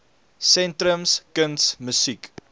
sentrums kuns musiek